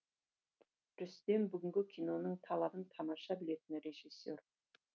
рүстем бүгінгі киноның талабын тамаша білетін режиссер